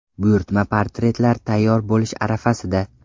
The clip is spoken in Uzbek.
Buyurtma portretlar tayyor bo‘lish arafasida.